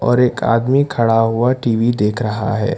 और एक आदमी खड़ा हुआ टी_वी देख रहा है।